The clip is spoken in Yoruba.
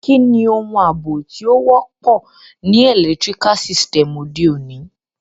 Kíni oun àbò to wọ́pọ̀ ni electrical sytem ọ̀de ọ̀ní?